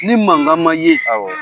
Ni mangan ma ye. Awɔ.